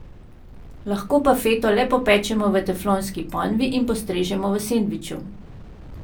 Lahko pa feto le popečemo v teflonski ponvi in postrežemo v sendviču.